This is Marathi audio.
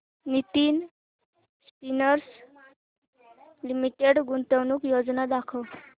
नितिन स्पिनर्स लिमिटेड गुंतवणूक योजना दाखव